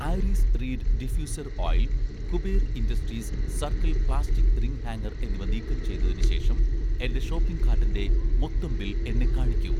iris reed diffuser oil, 'Kuber Industries' circle plastic ring hanger എന്നിവ നീക്കം ചെയ്‌തതിന് ശേഷം എന്‍റെ ഷോപ്പിംഗ് കാട്ടിന്‍റെ മൊത്തം ബിൽ എന്നെ കാണിക്കൂ